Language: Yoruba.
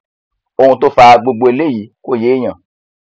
ohun tó fa gbogbo eléyìí kò yéèyàn